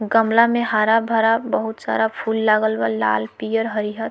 गमला में हरा-भरा बहुत सारा फूल लागल बा लाल पियर हरियर।